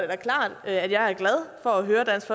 da klart at jeg er glad for at høre dansk